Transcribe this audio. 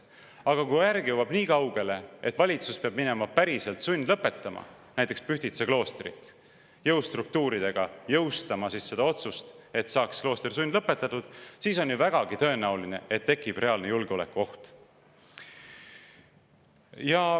Aga kui järg jõuab nii kaugele, et valitsus peab hakkama päriselt sundlõpetama näiteks Pühtitsa kloostrit, peab hakkama jõustruktuuridega jõustama seda otsust, et klooster saaks sundlõpetatud, siis on ju vägagi tõenäoline, et tekib reaalne julgeolekuoht.